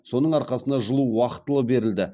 соның арқасында жылу уақытылы берілді